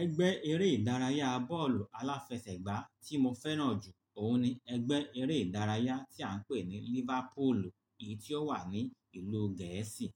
Ẹgbẹ́ eré ìdárayá bọ́ọ̀lù aláfẹsẹ̀gbá tí mo fẹ́ràn jù òun ni ẹgbẹ́ eré ìdárayá tí à ń pè ní Liverpool, èyí tí ó wà ní ìlú Gẹ̀ẹ́sì.